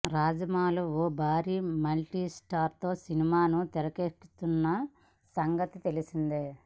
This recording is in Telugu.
రాజమౌళి ఓ భారీ మల్టీ స్టారర్ సినిమాను తెరకెక్కిస్తున్న సంగతి తెలిసిందే